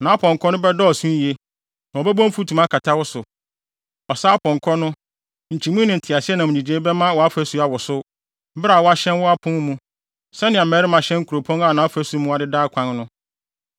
Nʼapɔnkɔ no bɛdɔɔso yiye, na wɔbɛbɔ mfutuma akata wo so. Ɔsa apɔnkɔ no, nkyimii ne nteaseɛnam nnyigyei bɛma wʼafasu awosow, bere a wɔahyɛn wo apon mu, sɛnea mmarima hyɛn kuropɔn a nʼafasu mu adeda akwan no.